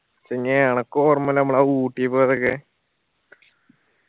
പിന്നേ അനക്ക് ഓർമില്ലേ നമ്മൾ ആ ഊട്ടി പോയതൊക്കെ